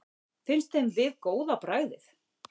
Finnst þeim við góð á bragðið?